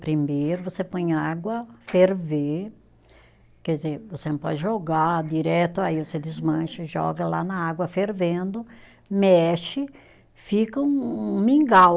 Primeiro você põe água, ferver, quer dizer, você não pode jogar direto, aí você desmancha e joga lá na água fervendo, mexe, fica um um um mingau.